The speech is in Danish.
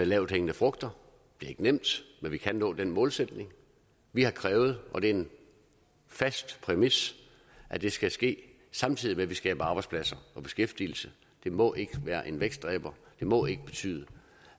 lavthængende frugter det er ikke nemt men vi kan nå den målsætning vi har krævet og det er en fast præmis at det skal ske samtidig med at vi skaber arbejdspladser og beskæftigelse det må ikke være en vækstdræber det må ikke betyde